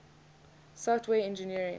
software engineering